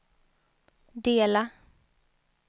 dela